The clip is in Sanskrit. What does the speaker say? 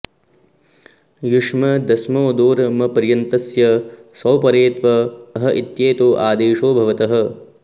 युष्मदस्मदोर् मपर्यन्तस्य सौ परे त्व अह इत्येतौ आदेशौ भवतः